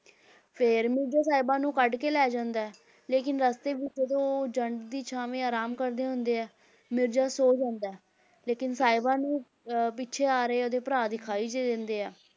ਫਿਰ ਮਿਰਜ਼ਾ ਸਾਹਿਬਾਂ ਨੂੰ ਕੱਢ ਕੇ ਲੈ ਜਾਂਦਾ ਹੈ, ਲੇਕਿੰਨ ਰਸਤੇ ਵਿੱਚ ਜਦੋਂ ਉਹ ਜੰਡ ਦੀ ਛਾਵੇਂ ਆਰਾਮ ਕਰਦੇ ਹੁੰਦੇ ਹੈ, ਮਿਰਜ਼ਾ ਸੌ ਜਾਂਦਾ ਹੈ ਲੇਕਿੰਨ ਸਾਹਿਬਾਂ ਨੂੰ ਅਹ ਪਿੱਛੇ ਆ ਰਹੇ ਉਹਦੇ ਭਰਾ ਦਿਖਾਈ ਦੇ ਦਿੰਦੇ ਹੈ,